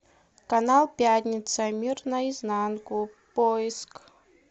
канал пятница мир наизнанку поиск